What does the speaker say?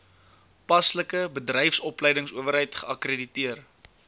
paslike bedryfsopleidingsowerheid geakkrediteer